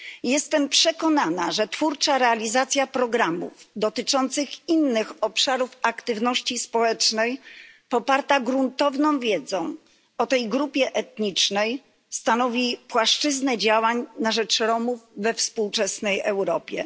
Jestem przekonana, że twórcza realizacja programów dotyczących innych obszarów aktywności społecznej poparta gruntowną wiedzą o tej grupie etnicznej stanowi płaszczyznę działań na rzecz Romów we współczesnej Europie.